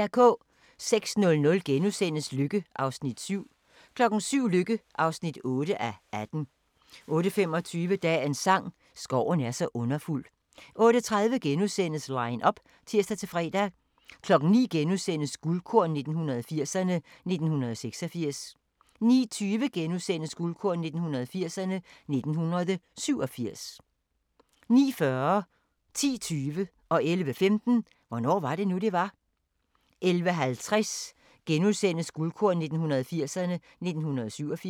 06:00: Lykke (7:18)* 07:00: Lykke (8:18) 08:25: Dagens sang: Skoven er så underfuld 08:30: Line up *(tir-fre) 09:00: Guldkorn 1980'erne: 1986 * 09:20: Guldkorn 1980'erne: 1987 * 09:40: Hvornår var det nu, det var? 10:20: Hvornår var det nu, det var? 11:05: Hvornår var det nu, det var? 11:50: Guldkorn 1980'erne: 1987 *